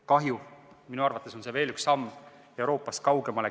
Kahju – minu arvates on see veel üks samm Euroopast kaugemale.